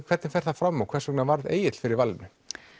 hvernig fer það fram og hvers vegna varð Egill fyrir valinu